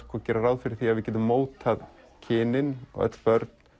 gera ráð fyrir því að við getum mótað kynin öll börn